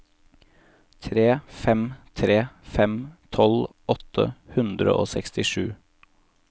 tre fem tre fem tolv åtte hundre og sekstisju